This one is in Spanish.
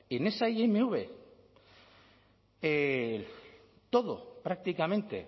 en esa imv todo prácticamente